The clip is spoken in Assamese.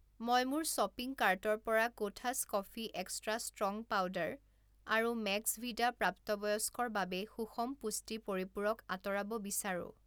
মই মোৰ শ্বপিং কাৰ্টৰ পৰা Kothas coffee extra strong powder আৰু মেক্সভিদা প্ৰাপ্তবয়স্কৰ বাবে সুষম পুষ্টি পৰিপূৰক আঁতৰাব বিচাৰো।